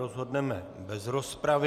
Rozhodneme bez rozpravy.